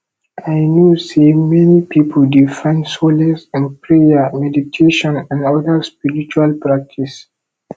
i know say many people dey find solace in prayer meditation and oda spiritual practices